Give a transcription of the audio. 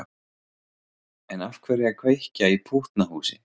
En af hverju að kveikja í pútnahúsi?